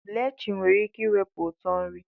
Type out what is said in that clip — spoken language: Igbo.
Blachin nwere ike iwepi utọ nri.